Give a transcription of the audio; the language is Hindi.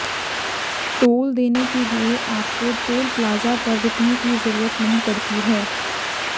टोल देने के लिए आपको टोल प्लाजा पर रुकने की जरूरत नहीं पड़ती है